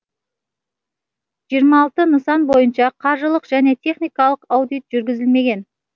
жиырма алты нысан бойынша қаржылық және техникалық аудит жүргізілмеген